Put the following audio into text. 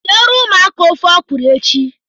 Sie ru ụmụaka ofe ọkrọ echi